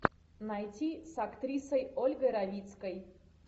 найти с актрисой ольгой равицкой